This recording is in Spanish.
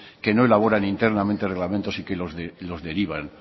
que no elaboran internamente reglamentos y que los derivan